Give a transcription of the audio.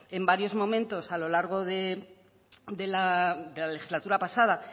en varios momentos a lo largo de la legislatura pasada